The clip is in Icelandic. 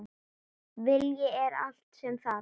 Vilji er allt sem þarf